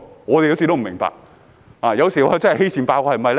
"我也不明白，有時是否因為欺善怕惡呢？